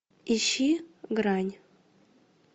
ищи грань